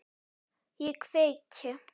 Ég kveiki.